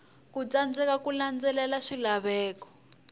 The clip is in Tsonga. ku tsandzeka ku landzelela swilaveko